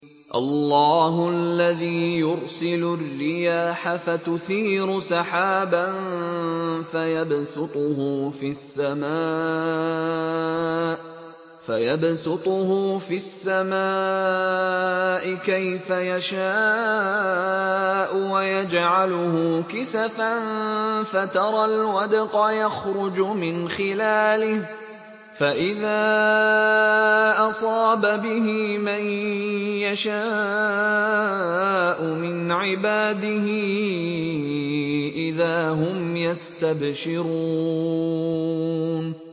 اللَّهُ الَّذِي يُرْسِلُ الرِّيَاحَ فَتُثِيرُ سَحَابًا فَيَبْسُطُهُ فِي السَّمَاءِ كَيْفَ يَشَاءُ وَيَجْعَلُهُ كِسَفًا فَتَرَى الْوَدْقَ يَخْرُجُ مِنْ خِلَالِهِ ۖ فَإِذَا أَصَابَ بِهِ مَن يَشَاءُ مِنْ عِبَادِهِ إِذَا هُمْ يَسْتَبْشِرُونَ